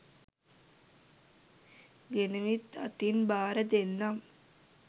ගෙනවිත් අතින් භාර දෙන්නම්